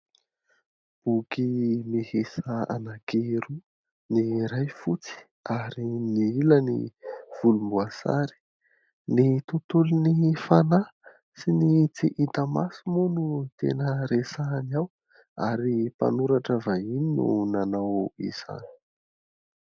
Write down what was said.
Boky miisa anankiroa : ny iray fotsy, ary ny iray volomboasary. Ny tontolon'ny fanahy sy ny tsy hita maso moa no tena resahana ao, ary mpanoratra vahiny no nanao izany.